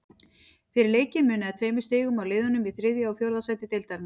Fyrir leikinn munaði tveimur stigum á liðunum í þriðja og fjórða sæti deildarinnar.